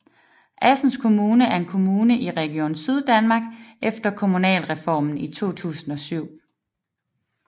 Assens Kommune er en kommune i Region Syddanmark efter Kommunalreformen i 2007